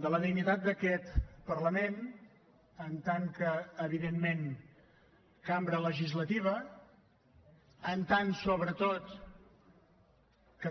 de la dignitat d’aquest parlament com a evidentment cambra legislativa com a sobretot